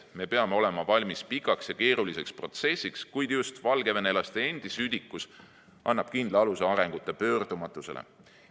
Me peame olema valmis pikaks ja keeruliseks protsessiks, kuid just valgevenelaste endi südikus annab kindla aluse arengu pöördumatusele.